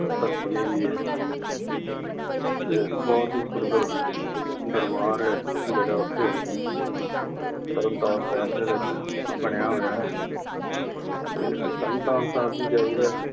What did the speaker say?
ਧਰਤੀ ਹੈਗੀ ਆ। ਇੱਕ ਬਹੁਤ ਹੀ ਸੁੰਦਰ ਦਰਬਰ ਆ, ਜਿਹੜਾ ਉਥੇ ਤਰਨ ਤਾਰਨ ਸਾਹਿਬ ਦੇ ਵਿੱਚ ਬਣਿਆ ਹੋਇਐ। ਤੇ ਤਰਨ ਤਾਰਨ ਸਾਹਿਬ ਵੀ ਜਾਈ ਦਾ।